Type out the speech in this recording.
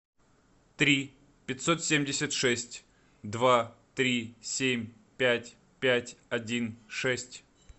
три пятьсот семьдесят шесть два три семь пять пять один шесть